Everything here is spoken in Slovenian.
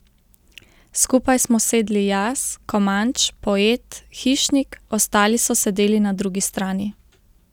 Skupaj smo sedli jaz, Komanč, Poet, Hišnik, ostali so sedeli na drugi strani.